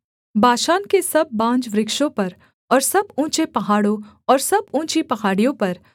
बाशान के सब बांजवृक्षों पर और सब ऊँचे पहाड़ों और सब ऊँची पहाड़ियों पर